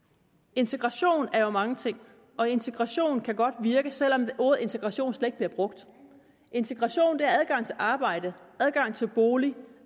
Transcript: integration er jo mange ting og integration kan godt virke selv om ordet integration slet ikke bliver brugt integration er adgang til arbejde adgang til bolig